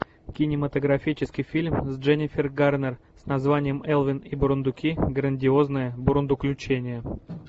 кинематографический фильм с дженифер гарнер с названием элвин и бурундуки грандиозное бурундуключение